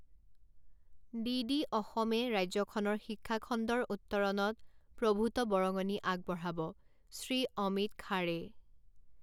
DD অসমে ৰাজ্যখনৰ শিক্ষাখণ্ডৰ উত্তৰণত প্ৰভূত বৰঙণি আগবঢ়াবঃ শ্ৰী অমিত খাড়ে